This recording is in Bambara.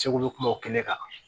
Segu kuma o kɛnɛ kan